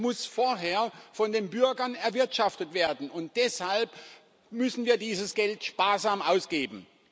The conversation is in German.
Es muss vorher von den Bürgern erwirtschaftet werden, und deshalb müssen wir dieses Geld sparsam ausgeben.